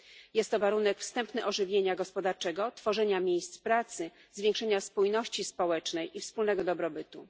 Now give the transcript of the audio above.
Jest to warunek wstępny ożywienia gospodarczego, tworzenia miejsc pracy, zwiększenia spójności społecznej i wspólnego dobrobytu.